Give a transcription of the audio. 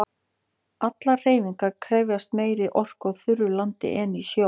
Allar hreyfingar krefjast meiri orku á þurru landi en í sjó.